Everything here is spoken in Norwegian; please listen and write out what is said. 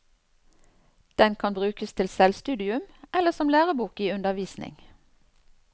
Den kan brukes til selvstudium eller som lærebok i undervisning.